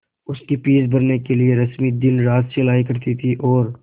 उसकी फीस भरने के लिए रश्मि दिनरात सिलाई करती थी और